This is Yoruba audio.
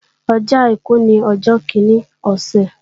Ọjọ́ àìkú ní ọjọ́ kíní ọ̀sẹ̀